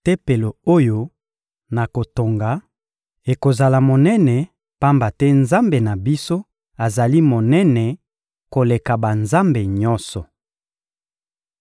Tempelo oyo nakotonga ekozala monene, pamba te Nzambe na biso azali monene koleka banzambe nyonso.